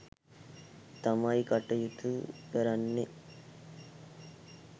තමයි කටයුතු කරන්නේ